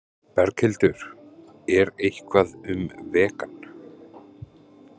Berghildur: Er eitthvað um vegan?